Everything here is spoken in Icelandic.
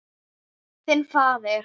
Þinn faðir.